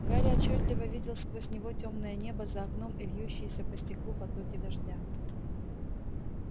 гарри отчётливо видел сквозь него тёмное небо за окном и льющиеся по стеклу потоки дождя